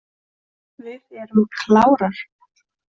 Við erum klárar.